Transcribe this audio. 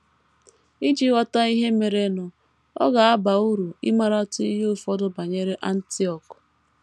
Iji ghọta ihe merenụ, ọ ga - aba uru ịmaratụ ihe ụfọdụ banyere Antiọk.